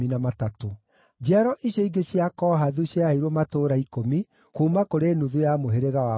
Njiaro icio ingĩ cia Kohathu ciaheirwo matũũra ikũmi, kuuma kũrĩ nuthu ya mũhĩrĩga wa Manase.